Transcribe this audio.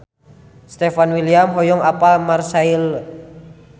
Stefan William hoyong apal Marseille